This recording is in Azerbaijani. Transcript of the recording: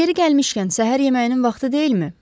Yeri gəlmişkən, səhər yeməyinin vaxtı deyilmi?